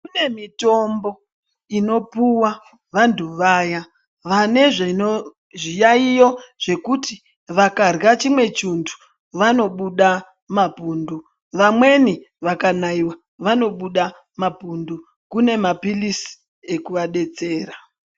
Kune mitombo unopuwa vandu vane zvino, zviyaiyo zvekuti vangarwa chimwe chindu vanobude mapundu. Vamweni vakanaiwa vanobude mapundu kune mapilizi ekuadetsera.